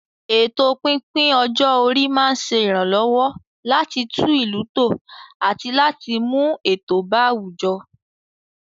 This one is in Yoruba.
Ètò pípín ọjọ́ orí máa ń ṣe ìrànlọ́wọ́ láti tún ìlú tò àti láti mú ètò bá àwùjọ.